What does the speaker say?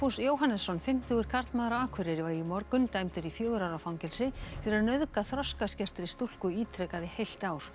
Jóhannesson fimmtugur karlmaður á Akureyri var í morgun dæmdur í fjögurra ára fangelsi fyrir að nauðga þroskaskertri stúlku ítrekað í heilt ár